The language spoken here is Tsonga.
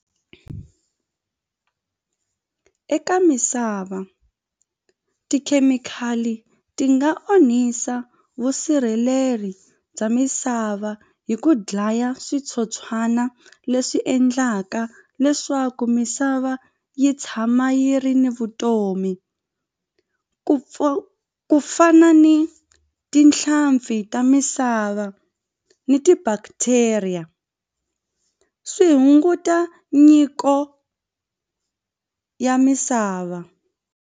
Eka misava tikhemikhali ti nga onhisa vusirheleri bya misava hi ku dlaya switsotswana leswi endlaka leswaku misava yi tshama yi ri ni vutomi ku ku fana ni tinhlampfi ta misava ni ti-bacteria swi hunguta nyiko ya misava.